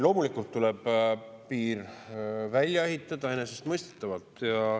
Loomulikult tuleb piir välja ehitada, enesestmõistetavalt.